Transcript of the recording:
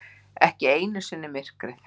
Ekki einu sinni myrkrið.